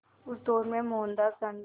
उस दौर में मोहनदास गांधी